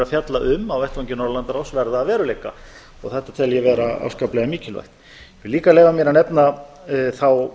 fjalla um á vettvangi norðurlandaráðs verða að veruleika þetta tel ég vera afskaplega mikilvægt ég vil líka leyfa mér að nefna þá